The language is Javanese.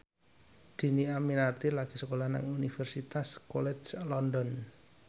Dhini Aminarti lagi sekolah nang Universitas College London